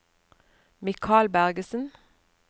Mikael Bergersen